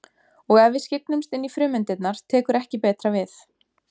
Og ef við skyggnumst inn í frumeindirnar tekur ekki betra við.